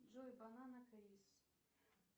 джой банана крис